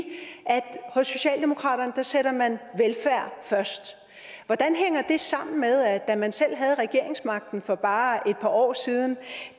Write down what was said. hos socialdemokratiet sætter man velfærd først hvordan hænger det sammen med at da man selv havde regeringsmagten for bare et par år siden